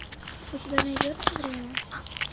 у тебя найдется время